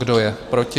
Kdo je proti?